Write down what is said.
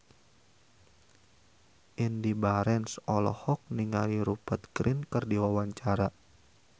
Indy Barens olohok ningali Rupert Grin keur diwawancara